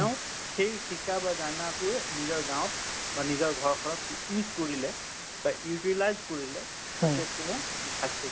তেওঁ সেই শিকা বা জানাটোই নিজৰ গাওঁত বা নিজৰ ঘৰখনত use কৰিলে বা utilize কৰিলে